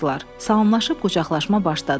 Salamlaşıb qucaqlaşma başladı.